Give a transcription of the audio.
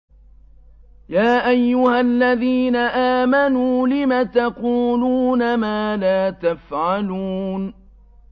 يَا أَيُّهَا الَّذِينَ آمَنُوا لِمَ تَقُولُونَ مَا لَا تَفْعَلُونَ